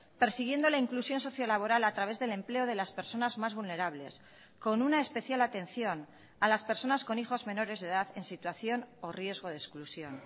persiguiendo la inclusión sociolaboral a través del empleo de las personas más vulnerables con una especial atención a las personas con hijos menores de edad en situación o riesgo de exclusión